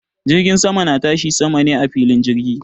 Jirgin sama na tashi sama ne a filin jirgi